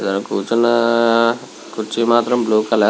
అక్కడ కూర్చున్న కుర్చీ మాత్రం బ్లూ కలర్ లో వుంది.